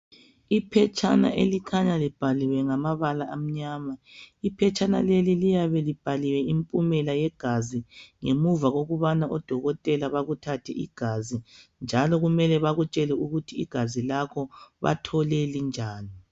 Iphetshana elikhanya libhaliwe ngamabala amnyama. Iphetshana leli liyabe libhaliwe impumela yegazi ngemuva kokubana odokotela bakuthathe igazi njalo kufanele ukubana bakutshele ukuthi igazi lakho bathole linjani.